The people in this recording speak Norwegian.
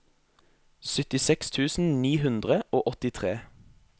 syttiseks tusen ni hundre og åttitre